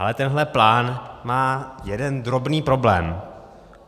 Ale tenhle plán má jeden drobný problém.